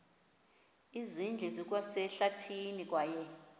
zindlu zikwasehlathini kwaye